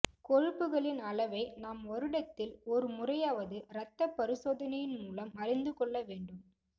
கொழுப்புகளின் அளவை நாம் வருடத்தில் ஒரு முறையாவது இரத்தப் பரிசோதனையின்மூலம் அறிந்துகொள்ள வேண்டும்